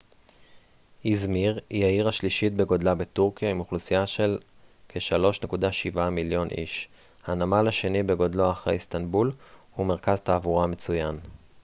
איזמיר היא העיר השלישית בגודלה בטורקיה עם אוכלוסייה של כ-3.7 מיליון איש הנמל השני בגודלו אחרי איסטנבול ומרכז תעבורה מצוין